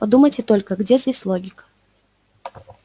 подумайте только где здесь логика